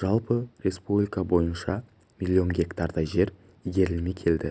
жалпы республика бойынша миллион гектардай жер игерілмей келеді